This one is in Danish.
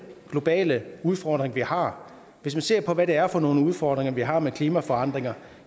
globale udfordring vi har hvis man ser på hvad det er for nogle udfordringer vi har med klimaforandringer